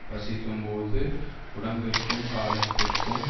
பசிக்கும்போது உடம்பிற்கும் காலத்திற்கும்